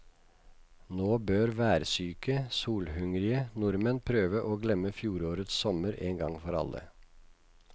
Nå bør værsyke, solhungrige nordmenn prøve å glemme fjorårets sommer en gang for alle.